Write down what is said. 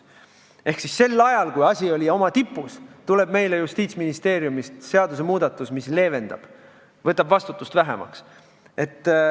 Ehk sel ajal, kui asi oli oma tipus, tuli meile Justiitsministeeriumist seadusmuudatus, mis leevendas ja võttis vastutust vähemaks.